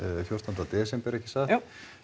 fjórtánda desember ekki satt jú